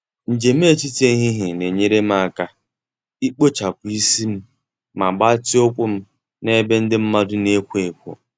Njem etiti ehihie na-enyere m aka ikpochapụ isi m ma gbatịa ụkwụ m na ebe ndị mmadụ na-ekwo ekwo.